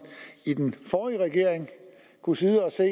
i den forrige regering kunne sidde og se